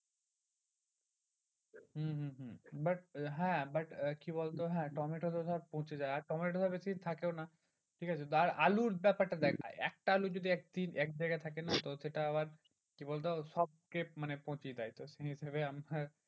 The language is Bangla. হম হম হম but হ্যাঁ but আহ কি বলতো হ্যাঁ টমেটো তো ধর পচে যায়। আর টমেটো বেশিদিন থেকেও না ঠিকাছে আর আলুর ব্যাপারটা দেখ ভাই একটা আলু যদি একদিন এক জায়গায় থাকে না তো সেটা আবার কি বলতো সবকে মানে পচিয়ে দেয় তো সেই